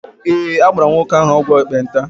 Ee, agbara m nwoke ahụ ọgwụ ekpenta.